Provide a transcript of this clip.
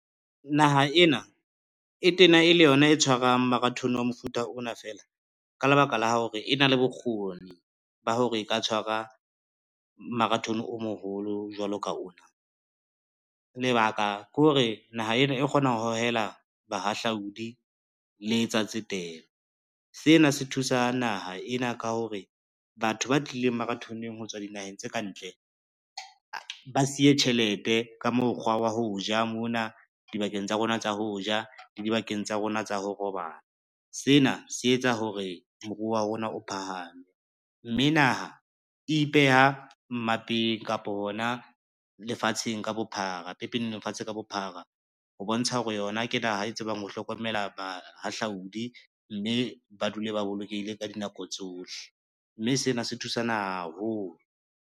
Naha ena e tena e le yona e tshwarang marathon wa mofuta ona feela, ka lebaka la hore e na le bokgoni ba hore e ka tshwara marathon o moholo jwalo ka ona. Lebaka ke hore naha ena e kgona ho hohela bahahlaudi le tsa tsetelo, sena se thusa naha ena ka hore, batho ba tlileng maratho-neng ho tswa dinaheng tse ka ntle ba siye tjhelete ka mokgwa wa ho ja mona dibakeng tsa rona tsa ho ja le dibakeng tsa rona tsa ho robala. Sena se etsa hore moruo wa rona o phahame, mme naha ipeha mmapang kapo hona pepeneneng lefatshe ka bophara, ho bontsha hore yona ke naha e tsebang ho hlokomela bahahlaodi, mme ba dule ba bolokehile ka dinako tsohle, mme sena se thusa naha haholo.